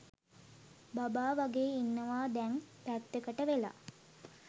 බබා වගේ ඉන්නවා දැන් පැත්තකට වෙලා.